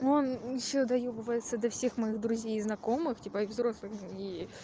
он ещё доёбывается до всех моих и друзей знакомых типа и взрослых и